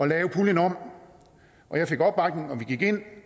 lave puljen om og jeg fik opbakning og vi gik ind